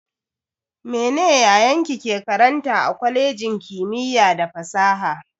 Mene yayanki ke karanta a kwalejin kimiyya da fasaha?